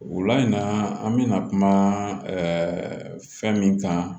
O la in na an bɛna kuma fɛn min kan